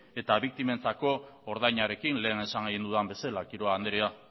eta biktimentzako ordainarekin lehen esan dudan bezala quiroga anderea